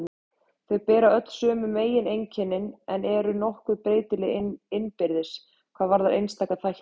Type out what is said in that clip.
Þau bera öll sömu megineinkennin en eru nokkuð breytileg innbyrðis hvað varðar einstaka þætti.